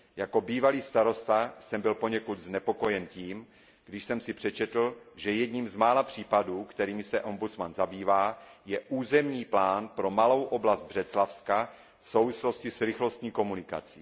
Jako bývalý starosta jsem byl poněkud znepokojen tím, když jsem si přečetl, že jedním z mála případů, kterými se ombudsman zabývá, je územní plán pro malou oblast Břeclavska v souvislosti s rychlostní komunikací.